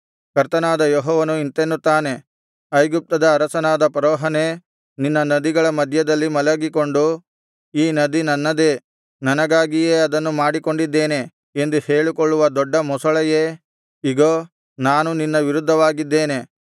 ಕರ್ತನಾದ ಯೆಹೋವನು ಇಂತೆನ್ನುತ್ತಾನೆ ಐಗುಪ್ತದ ಅರಸನಾದ ಫರೋಹನೇ ನಿನ್ನ ನದಿಗಳ ಮಧ್ಯದಲ್ಲಿ ಮಲಗಿಕೊಂಡು ಈ ನದಿ ನನ್ನದೇ ನನಗಾಗಿಯೇ ಅದನ್ನು ಮಾಡಿಕೊಂಡಿದ್ದೇನೆ ಎಂದು ಹೇಳಿಕೊಳ್ಳುವ ದೊಡ್ಡ ಮೊಸಳೆಯೇ ಇಗೋ ನಾನು ನಿನ್ನ ವಿರುದ್ಧವಾಗಿದ್ದೇನೆ